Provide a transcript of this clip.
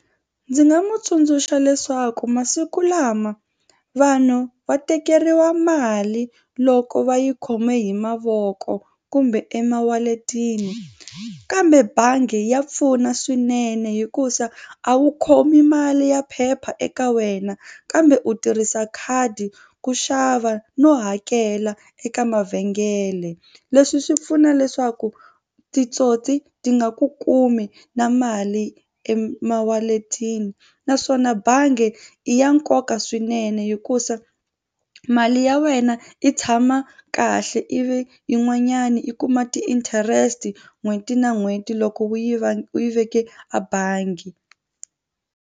Ndzi nga mu tsundzuxa leswaku masiku lama vanhu va tekeriwa mali loko va yi khome hi mavoko kumbe emawaletini kambe bangi ya pfuna swinene hikuza a wu khomi mali ya phepha eka wena kambe u tirhisa khadi ku xava no hakela eka mavhengele. Leswi swi pfuna leswaku titsotsi ti nga ku kumi na mali emawaletini naswona bangi i ya nkoka swinene hikusa mali ya wena yi tshama kahle ivi se yin'wanyana i kuma ti-interest n'hweti na n'hweti loko u yi va u yi veke a bangi.